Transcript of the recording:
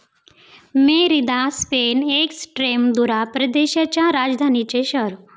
Merida, Spain, Extremadura प्रदेशाच्या राजधानीचे शहर